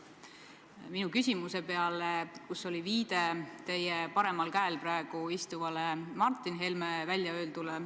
Ma viitasin oma küsimuses praegu teie paremal käel istuva Martin Helme väljaöeldule.